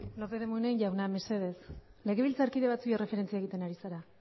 ez lópez de munain mesedez legebiltzarkide batzuei erreferentzia egiten ari zara